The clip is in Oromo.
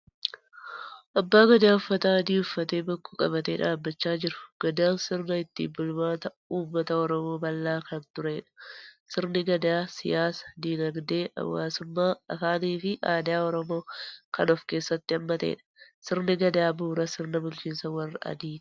Abbaa gadaa uffata adii uffatee bokkuu qabatee dhaabachaa jiru. Gadaan sirna ittiin bulmaata uummata Oromoo bal'aa kan turedha. Sirni gadaa siyaasa, dinagdee, hawaasummaa, afaanii fi aadaa Oromoo kan ofkeessatti haammatedha. Sirni gadaa bu'uura sirna bulchiinsa warra adiiti.